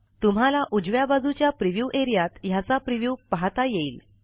तुम्हाला उजव्या बाजूच्या प्रिव्ह्यू एरियात ह्याचा प्रिव्ह्यू पाहाता येईल